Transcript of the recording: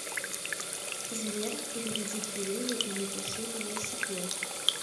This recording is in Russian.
сбер переведи кириллу и напиши велосипед